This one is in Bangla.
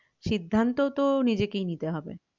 সিদ্ধান্ত তো নিজেকেই নিতে হবে